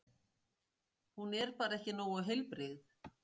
Hún er bara ekki nógu heilbrigð.